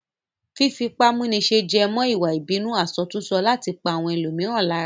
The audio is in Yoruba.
Fífipámúniṣe wé mọ́ ìwà ìbínú àsọtúnsọ láti pa àwọn ẹlòmíràn lára